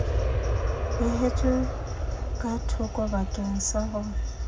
beehetswe ka thokobakeng sa ho